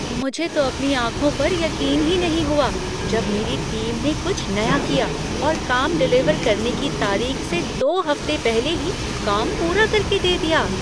मुझे तो अपनी आंखों पर यकीन ही नहीं हुआ जब मेरी टीम ने कुछ नया किया और काम डिलीवर करने की तारीख से दो हफ्ते पहले ही काम पूरा कर के दे दिया।